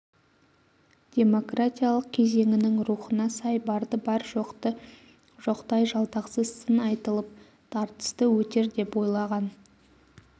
демократиялық кезеңінің рухына сай барды бар жоқты жоқтай жалтақсыз сын айтылып тартысты өтер деп ойлаған